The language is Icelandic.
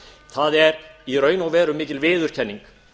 það er í raun og veru mikil viðurkenning